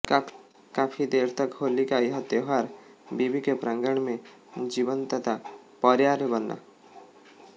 काफी देर तक होली का यह त्योहार विवि के प्रांगण में जीवंतता पर्याय बना